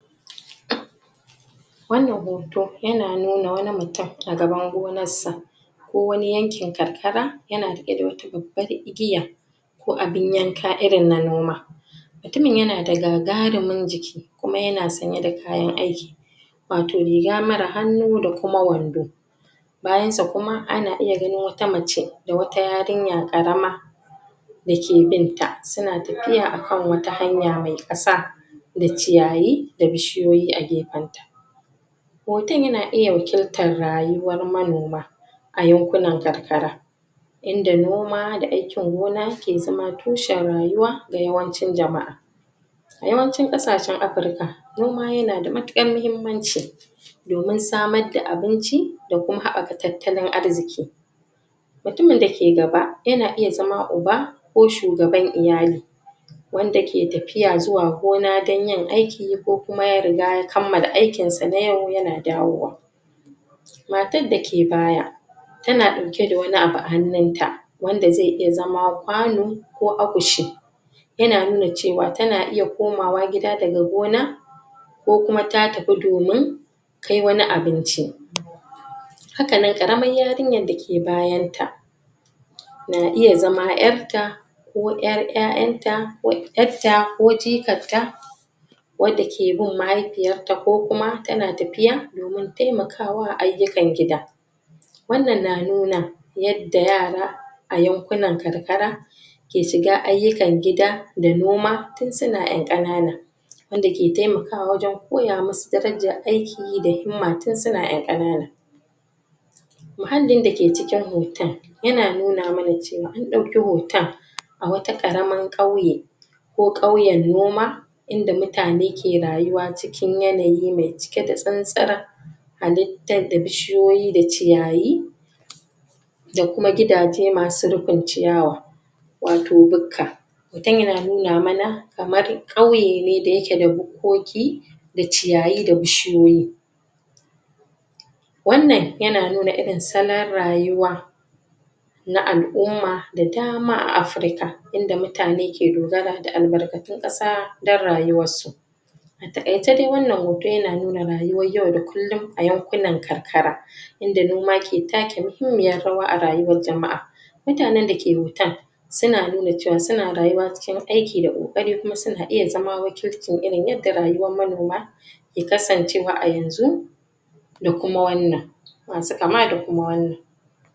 wannan hoto ya na nuna wani mutum daga bango nassa ko wani yankin karkara, yana rike da wata babbar igiya ko abin yanka irin na noma mutumin ya na da gagarumin jiki kuma ya na sanye da kayan aiki wato riga marar hannu da kuma wando Bayansa kuma ana iya ganin wata mace da kuma yarinya ƙarama Dake binta su na tafiya a kan wata hanya mai ƙasa da ciyayi, da bishiyoyi a gefen ta Hoton ya na iya wakiltar rayuwar manoma A yankunan Karkara Inda noma da aikin gona ke zama tushen rayuwa ga yawancin jama'a A Yawancin ƙasashen Afrika Noma ya na da matuƙar mahimmanci domin samar da abinci, da kuma haɓaka tattalin arziki mutumin da ke gaba, ya na iya zama uba Ko shugaban iyali Wanda ke tafiya zuwa gona dan yin aiki, ko kuma ya kammala aikinsa na yau ya na dawowa matar da ke baya ta na ɗauke da wani abu a hannun ta wanda zai iya zama kwano ko akushi Ya na nuna cewa ta na iya komawa gida gada gona Ko kuma ta tafi domin Kai wani abinci haka nan ƙaramar yarinyar da ke bayan ta na iya zama 'yar ta ko 'yar 'ya'yanta, ko 'yar ta, ko jikar ta wadda ke bin mahaifiyar ta ko kuma ta na tafiya Domin taimakawa ayyukan gida Wannan na nuna Yadda Yara A yankunan karkara ke shiga ayyukan gida Da noma tun su na 'yan ƙanana Wanda ke taimakawa wajen koya musu darajar aiki da himma, tun su na 'yan ƙana na. muhallin da ke cikin hoton ya na nuna mana cewa an ɗauki hoton Wata ƙaraman ƙauye Ko ƙauyen noma Inda mutane ke rayuwa cikin yanayi mai cike da tsantsar Halittar da Bishiyoyi da ciyayi da kuma gidaje masu rufin ciyawa Wato bukka Hoton ya na nuna mana kamar ƙauye ne da yake da bukkoki da ciyayi, da bishiyoyi Wannan ya na irin salon rayuwa na Al'umma da dama a Afrika Inda mutane ke dogara da albarkatun ƙasa dan rayuwar su A taƙaice dai wannan hoto ya na nuna rayuwar yau da kullum a yankunan karkara Inda noma ke take muhimmiyar rawa a rayuwar Jama'a Mutanen da ke hoton Su na nuna cewa su na rayuwa cikin aiki da ƙoƙari, kuma su na iya zama wakilcin irin yadda rayuwar manoma ke kasancewa a yanzu da kuma wannan Ma su kama da kuma wannan